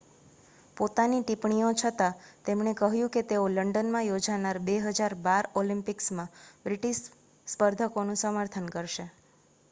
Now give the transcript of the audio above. પોતાની ટિપ્પણીઓ છતાં તેમણે કહ્યું કે તેઓ લંડનમાં યોજાનાર 2012 ઑલિમ્પિક્સમાં બ્રિટિશ સ્પર્ધકોનું સમર્થન કરશે